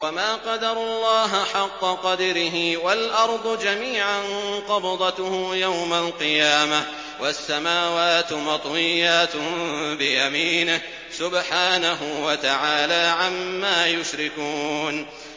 وَمَا قَدَرُوا اللَّهَ حَقَّ قَدْرِهِ وَالْأَرْضُ جَمِيعًا قَبْضَتُهُ يَوْمَ الْقِيَامَةِ وَالسَّمَاوَاتُ مَطْوِيَّاتٌ بِيَمِينِهِ ۚ سُبْحَانَهُ وَتَعَالَىٰ عَمَّا يُشْرِكُونَ